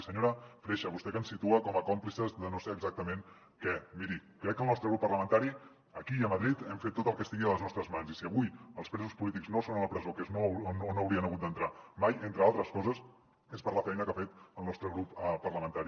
i senyora freixa vostè que ens situa com a còmplices de no sé exactament què miri crec que el nostre grup parlamentari aquí i a madrid hem fet tot el que estigui a les nostres mans i si avui els presos polítics no són a la presó que és on no haurien hagut d’entrar mai entre altres coses és per la feina que ha fet el nostre grup parlamentari